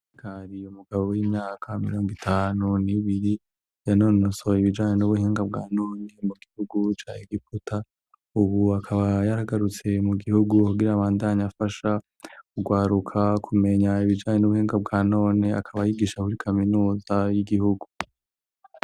Hari umugabo w'imyaka mirongo itanu n'ibiri yanonosoye ibijanye n'ubuhinga bwa none mu gihugu ca egiputa ubu akaba yaragarutse mu gihugu abandanye afasha kugwaruka kumenya ibijanye n'ubuhinga bwa none akaba ayigisha kuri kaminuza y'igihugu